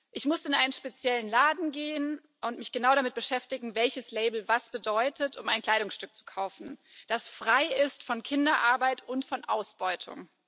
Ich musste in einen speziellen Laden gehen und mich genau damit beschäftigen, welches Label was bedeutet, um ein Kleidungsstück zu kaufen, das frei ist von Kinderarbeit und von Ausbeutung.